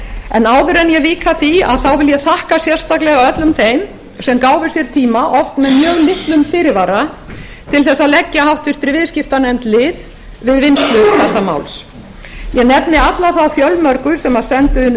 en áður en ég á að því vil ég þakka sérstaklega öllum þeim sem gáfu sér tíma oft með mjög litlum fyrirvara til að leggja háttvirtur viðskiptanefnd lið við vinnslu þessa máls ég nefndi alla þá fjölmörgu sem sendu inn